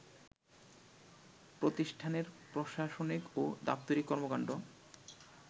প্রতিষ্ঠানের প্রশাসনিক ও দাপ্তরিক কর্মকাণ্ড